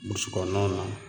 Burusu kɔnɔnaw na